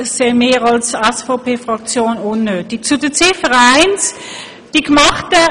Die SVP-Fraktion erachtet dies als unnötig.